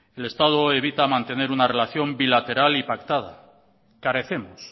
el estado evita mantener una relación bilateral y pactada carecemos